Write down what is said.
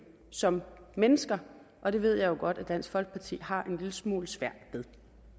som mennesker og det ved jeg jo godt dansk folkeparti har en lille smule svært ved